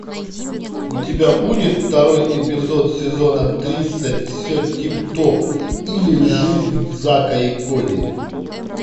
у тебя будет второй эпизод сезона тридцать все тип топ или жизнь зака и коди